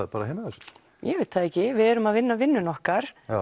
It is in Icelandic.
heima hjá sér ég veit það ekki við erum að vinna vinnuna okkar